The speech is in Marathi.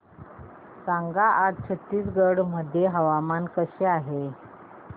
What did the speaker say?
सांगा आज छत्तीसगड मध्ये हवामान कसे आहे